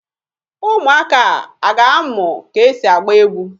Ụmụaka a a ga-amụ ka e si agba egwu?